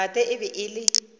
tate e be e le